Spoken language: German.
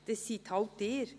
Dies sind halt Sie.